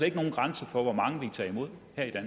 ikke nogen grænse for hvor mange vi kan tage imod